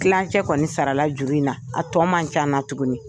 Tilancɛ kɔni sara la juru in na a tɔ man ca n na tuguni.